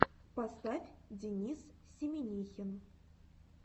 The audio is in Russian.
поставь денис семинихин